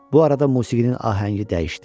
Bu arada musiqinin ahəngi dəyişdi.